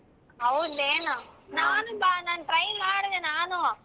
ಹೌದೇನೋ ನಾನ್ try ಮಾಡಿದೆ ನಾನು.